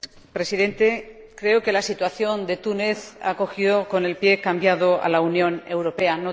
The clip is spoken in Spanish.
Señor Presidente, creo que la situación de Túnez ha cogido con el pie cambiado a la Unión Europea.